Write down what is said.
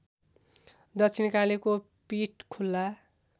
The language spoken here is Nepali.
दक्षिणकालीको पीठ खुल्ला